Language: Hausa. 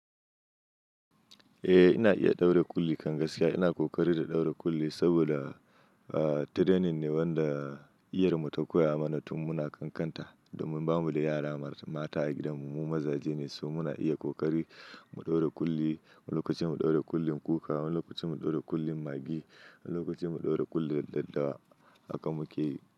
Eh ina iya ɗaura kulli kan gaskiya. Ina ƙoƙari da ɗaura kulli saboda, ah, training ne wanda iyar mu ta koya mana tun muna ƙanƙanta domin ba mu da yara mata a gidan mu. Mu mazaje ne, so muna iya ƙoƙari mu ɗaura kulli. Wani lokacin mu ɗaura kullin kuka, wani lokacin mu ɗaura kullin maggi, wani lokacin mu ɗaura kullin daddawa. Haka muke yi.